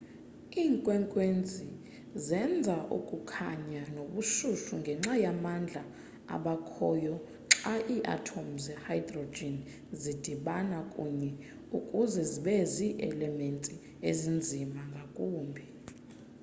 iinkwenkwezi zenza ukukhanya nobushushu ngenxa yamandla abakhoyo xa iiathom ze-hydrogen zidibana kunye ukuze zibe zi-elements ezinzima ngakumbi